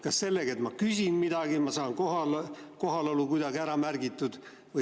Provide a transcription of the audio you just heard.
Kas sellega, et ma küsin midagi, ma saan oma kohalolu kuidagi ära märgitud?